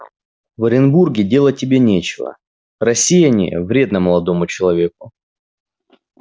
в оренбурге делать тебе нечего рассеяние вредно молодому человеку